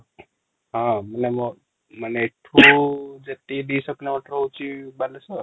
ହଁ ମାନେ ମୋ ମାନେ ଏଠୁ କିଲୋମିଟର ହଉଛି ବାଲେଶ୍ଵର